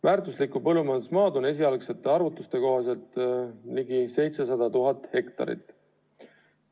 Väärtuslikku põllumajandusmaad on meil esialgsete arvutuste kohaselt ligi 700 000 hektarit.